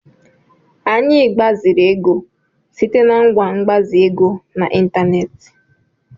Anyị gbaziri ego site na ngwa mgbazi ego n'ịntanetị.